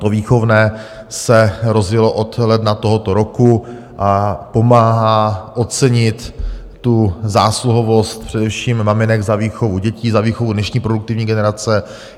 To výchovné se rozjelo od ledna tohoto roku a pomáhá ocenit tu zásluhovost především maminek za výchovu dětí, za výchovu dnešní produktivní generace.